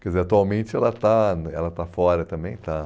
Quer dizer, atualmente ela está ela está fora também. Está